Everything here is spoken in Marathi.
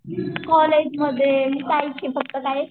कॉलेजमध्ये हेच की फक्त काय